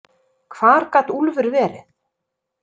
Hvar gat Úlfur verið?